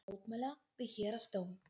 Boða til mótmæla við Héraðsdóm